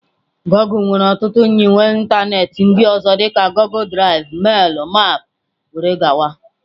Goọgle nwere ọtụtụ nyiwe ịntanetị ndị ọzọ dị ka Goọgle Drive, mail, maps wdg.